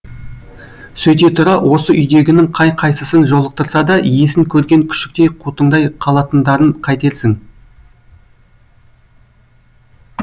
сөйте тұра осы үйдегінің қай қайсысын жолықтырса да иесін көрген күшіктей қутыңдай қалатындарын қайтерсің